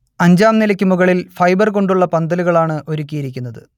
അഞ്ചാം നിലക്ക് മുകളിൽ ഫൈബർ കൊണ്ടുള്ള പന്തലുകളാണ് ഒരുക്കിയിരിക്കുന്നത്